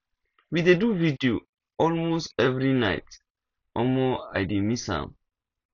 we dey do video all most every night omo i dey miss am